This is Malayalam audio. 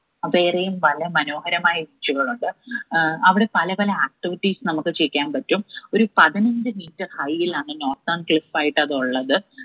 അതേറെയും വളരെ മനോഹരമായ beach ഉകളുണ്ട് ഏർ അവിടെ പലപല activities നമ്മുക്ക് ചെയ്യാൻ പറ്റും ഒരു പതിനഞ്ചു metre യിലാണ് northern cliff ആയിട്ട് അത് ഉള്ളത്.